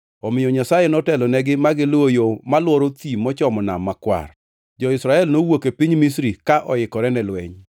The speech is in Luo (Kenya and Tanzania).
Omiyo Nyasaye notelonegi ma giluwo yo malworo thim mochomo Nam Makwar. Jo-Israel nowuok e piny Misri ka oikore ne lweny.